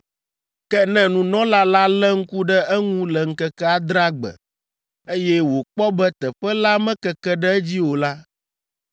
“Ke ne nunɔla la lé ŋku ɖe eŋu le ŋkeke adrea gbe, eye wòkpɔ be teƒe la mekeke ɖe edzi o la,